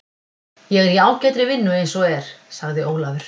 Ég er í ágætri vinnu eins og er, sagði Ólafur.